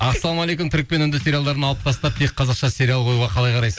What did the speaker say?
ассалаумағалейкум түрік пен үнді сериалдарын алып тастап тек қазақша сериал қоюға қалай қарайсыз